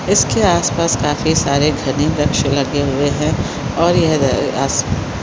इसके आस-पास काफी सारे घने वृक्ष लगे हुए है और यह अ--